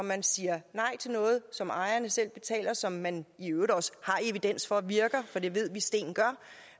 man siger nej til noget som ejerne selv betaler og som man i øvrigt også har evidens for virker for det ved vi sten gør